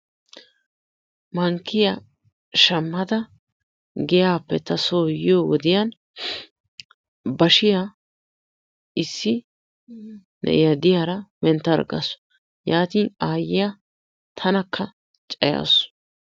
Mankkiya shammada giyaappe ta soo yiyo wodiyan bashiya issi na"iya diyara menttarggasu. Yaatin aayyiya tanakka cayaasu.